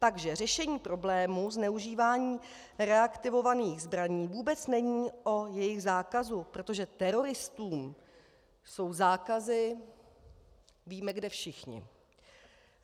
Takže řešení problému zneužívání reaktivovaných zbraní vůbec není o jejich zákazu, protože teroristní jsou zákazy - víme kde, všichni.